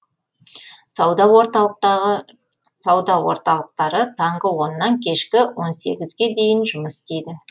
сауда орталықтары таңғы оннан кешкі он сегізге дейін жұмыс істейді